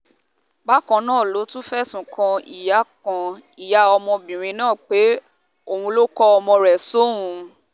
bákan náà ló tún fẹ̀sùn kan ìyá kan ìyá ọmọbìnrin náà pé òun ló ń kọ́ ọmọ rẹ̀ sóun